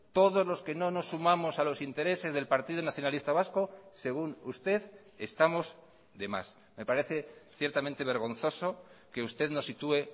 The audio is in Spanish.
todos los que no nos sumamos a los intereses del partido nacionalista vasco según usted estamos de más me parece ciertamente vergonzoso que usted nos sitúe